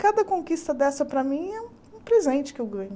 Cada conquista dessa, para mim, é um presente que eu ganho.